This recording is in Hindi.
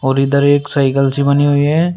और इधर एक साइकल सी बनी हुई है।